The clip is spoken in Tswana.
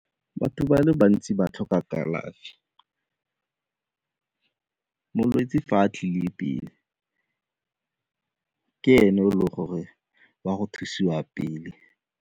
Batho ba le bantsi ba tlhoka kalafi. Molwetse fa a tlile pele ka ene o le gore o ya go thusiwa pele.